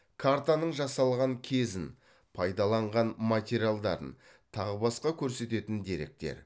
картаның жасалған кезін пайдаланған материалдарын тағы басқа көрсететін деректер